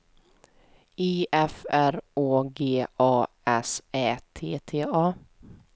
I F R Å G A S Ä T T A